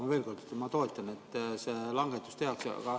Aga veel kord: ma toetan, et see langetus tehakse.